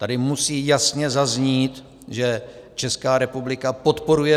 Tady musí jasně zaznít, že Česká republika podporuje